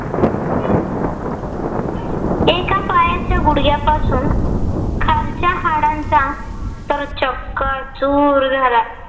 त्या पायाच्या गुडघ्यापासून खालच्या हाडांचा तर चक्काचूर झाला.